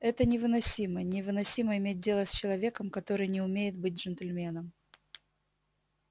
это невыносимо невыносимо иметь дело с человеком который не умеет быть джентльменом